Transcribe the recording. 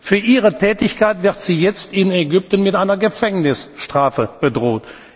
Für ihre Tätigkeit wird sie jetzt in Ägypten mit einer Gefängnisstrafe bedroht.